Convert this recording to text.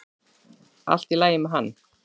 Allt í lagi með hann.